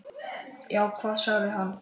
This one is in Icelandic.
Já, hvað sagði hann?